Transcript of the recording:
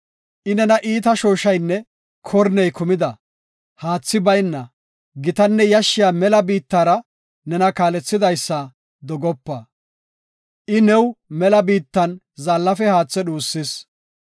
I nena iita shooshaynne korney kumida, haathi bayna, gitanne yashshiya mela biittara nena kaalethidaysa dogopa. I new mela biittan zaallafe haathe dhuusis.